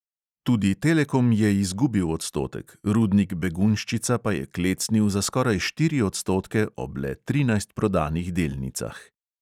Tudi telekom je izgubil odstotek, rudnik begunjščica pa je klecnil za skoraj štiri odstotke ob le trinajst prodanih delnicah.